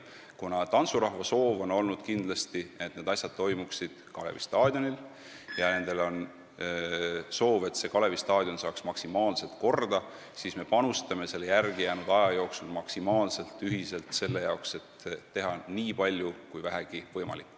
Kuna tantsurahva soov on olnud see, et pidu toimuks kindlasti Kalevi staadionil ja et see saaks maksimaalselt korda, siis me teeme järelejäänud aja jooksul ühiselt selle jaoks nii palju kui vähegi võimalik.